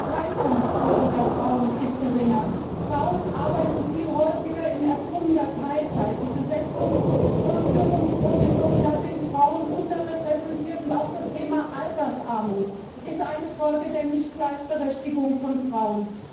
Die Beteiligungsquote der Frauen ist geringer, Frauen arbeiten viel häufiger in erzwungener Teilzeit, bei der Besetzung von Führungspositionen sind Frauen unterrepräsentiert, und auch das Thema Altersarmut ist eine Folge der Nichtgleichberechtigung von Frauen.